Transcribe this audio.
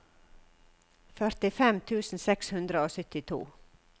førtifem tusen seks hundre og syttito